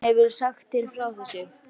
Og mamma þín hefur sagt þér frá þessu?